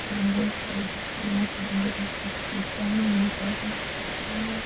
बहुत सारी डिज़ाइना सी मंड्योड़ी ऊपर डिज़ाइना में एक आदमी की फोटो है।